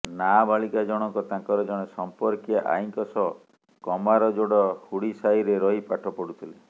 ନାବାଳିକା ଜଣଙ୍କ ତାଙ୍କର ଜଣେ ସଂପର୍କୀୟା ଆଈଙ୍କ ସହ କମାରଯୋଡ ହୁଡି ସାହିରେ ରହି ପାଠ ପଢୁଥିଲେ